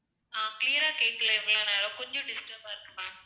ஆஹ் clear ஆ கேக்கல இவ்ளோ நேரம் கொஞ்சம் disturb ஆ இருக்கு ma'am